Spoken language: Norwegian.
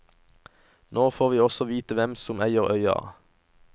Nå får vi også vite hvem som eide øya.